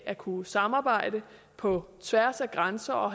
at kunne samarbejde på tværs af grænser og